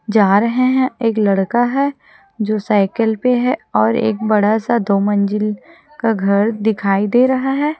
जा रहे हैं। एक लड़का है जो साइकिल पर है और एक बड़ा सा दो मंजिल का घर दिखाई दे रहा है।